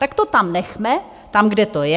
Tak to tam nechme, tam, kde to je.